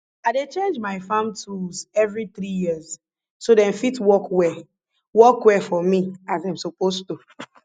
i dey change my farm tools every three years so dem fit work well work well for me as dem suppose to